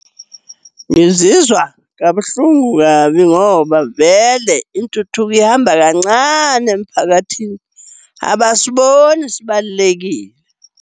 Ngizizwa kabuhlungu kabi ngoba vele intuthuko ihamba kancane emphakathini, abasiboni sibalulekile.